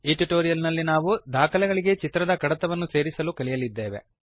ಈ ಟ್ಯುಟೋರಿಯಲ್ ನಲ್ಲಿ ನಾವು ದಾಖಲೆಗಳಿಗೆ ಚಿತ್ರದ ಕಡತವನ್ನು ಸೇರಿಸಲು ಕಲಿಯಲಿದ್ದೇವೆ